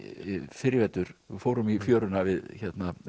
fyrr í vetur við fórum í fjöruna við